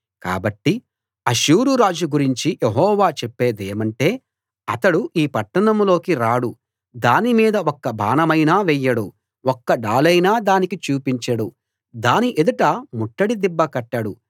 కాబట్టి అష్షూరు రాజు గురించి యెహోవా చెప్పేదేమంటే అతడు ఈ పట్టణంలోకి రాడు దానిమీద ఒక్క బాణమైనా వెయ్యడు ఒక్క డాలైనా దానికి చూపించడు దాని ఎదుట ముట్టడి దిబ్బ కట్టడు